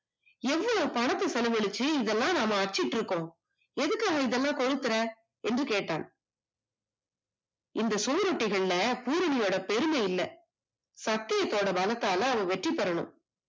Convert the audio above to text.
எவ்வளவு பணத்தை செலவிட்டு இதெல்லாம் அச்சுத்திருப்போம் எதுக்காக இதெல்லாம் கொளுத்துற என்று கேட்டான் இந்த சுவரொட்டிகளில் பூரணையோட பெருமை இல்லை சத்தியத்தோட பலத்தால அவன் வெற்றி பெறனும்